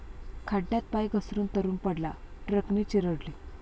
खड्ड्यात पाय घसरून तरुण पडला, ट्रकने चिरडले